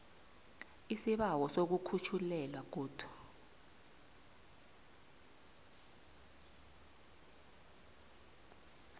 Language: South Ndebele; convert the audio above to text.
isibawo sokukhutjhelwa godu